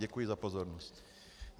Děkuji za pozornost.